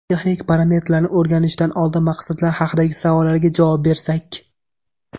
Texnik parametrlarni o‘rganishdan oldin maqsadlar haqidagi savollarga javob bersak.